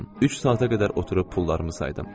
Üç saata qədər oturub pullarımı saydım.